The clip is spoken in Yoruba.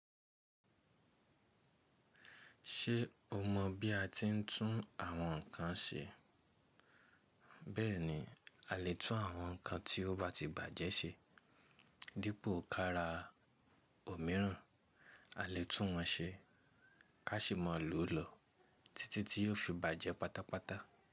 Ṣé o mọ̀ bí a ti ń tún àwọn nkan ṣe? Bẹ́ẹ̀ni, a lè tún àwọn nkan tí ó bá ti bàjẹ́ ṣe. Dípò kára òmíràn, a lè tún wọn ṣe. A ṣì máa lò ó lọ títí tí yóò fi bàjẹ́ pátápátá.